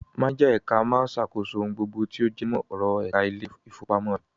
Máníjà ẹ̀ka máa ṣàkóso ohun gbogbo tí ó jẹmọ́ ọ̀rọ̀ ẹ̀ka ilé-ìfowópamọ́ rẹ̀.